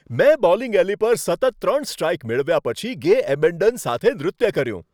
મેં bowling alley પર સતત ત્રણ સ્ટ્રાઇક મેળવ્યા પછી ગે એબેન્ડન સાથે નૃત્ય કર્યું.